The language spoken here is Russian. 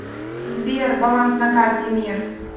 сбер баланс на карте мир